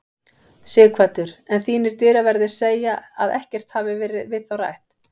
Sighvatur: En þínir dyraverðir segja að ekkert hafi verið við þá rætt?